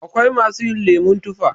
Akwai masu yin lemon tufa.